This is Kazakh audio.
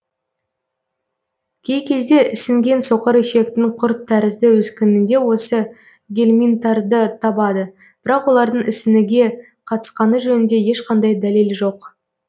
кей кезде ісінген соқыр ішектің құрт тәрізді өскінінде осы гельминттарды табады бірақ олардың ісініге қатысқаны жөнінде ешқандай дәлел жоқ